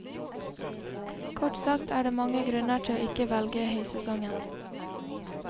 Kort sagt er det mange grunner til ikke å velge høysesongen.